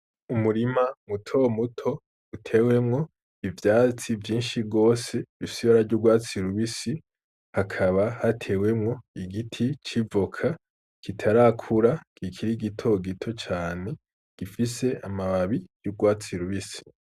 Umurima muto muto utewemwo ivyatsi vyinshi gose risa n'ugwatsi rubisi hakaba hatewemwo igiti c'ivoka kitarakura kikiri gito gito cane gifise amababi yurwatsi rubisi.